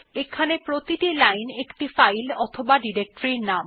এখানে প্রতিটি লাইন একটি ফাইল অথবা ডিরেক্টরির নাম